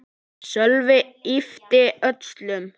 Sölvi yppti öxlum.